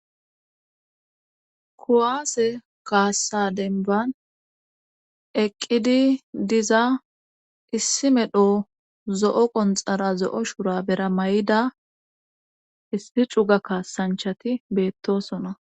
kuwaase kaassa denban eqqidi diza issi medho zo7o qonxara zo7o shura bera may7ida issi cuga kaassanchati beettosona